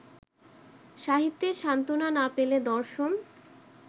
সাহিত্যে সান্ত্বনা না পেলে দর্শন